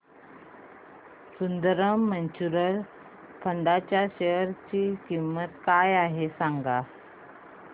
Sundaram mutual fund च्या share ची किंमत काय आहे सांगा